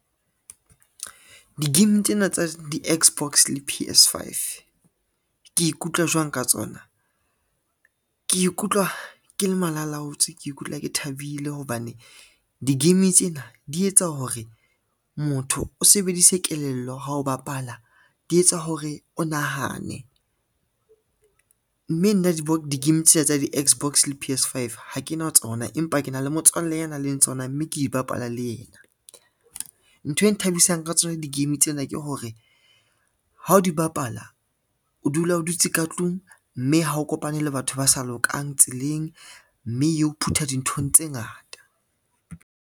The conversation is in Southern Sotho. Di-game tsena tsa di-Xbox le P_S five, ke ikutlwa jwang ka tsona? Ke ikutlwa ke le malalaotswe, ke ikutlwa ke thabile hobane di-game tsena di etsa hore motho o sebedise kelello ha o bapala, di etsa hore o nahane, mme nna di-game tsena tsa di-Xbox le P_S five ha ke na tsona, empa ke na le motswalle a nang le tsona mme ke di bapala le yena. Ntho e nthabisang ka tsona di-game tsena ke hore ha o di bapala o dula o dutse ka tlung, mme ha o kopane le batho ba sa lokang tseleng, mme eo phutha dinthong tse ngata.